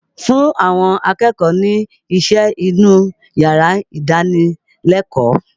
Fún àwọn akẹ́kọ̀ọ́ ni iṣẹ́ inú yàrá ìdánilẹ́kọ̀ọ́!